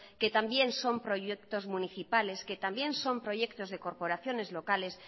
que también son proyectos municipales que también son proyectos de corporaciones locales